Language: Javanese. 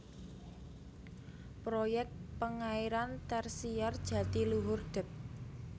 Proyek Pengairan Tersier Jatiluhur Dep